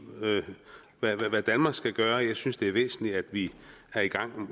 hvad hvad danmark skal gøre jeg synes det er væsentligt at vi er i gang